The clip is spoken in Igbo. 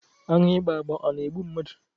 Aṅụ ịgba agba a na-egbu mmadụ?